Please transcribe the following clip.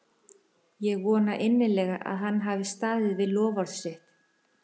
Ég vona innilega að hann hafi staðið við loforð sitt.